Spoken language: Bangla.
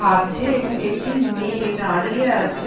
খাচ্ছে এবং একটি মেয়ে দাঁড়িয়ে আছে।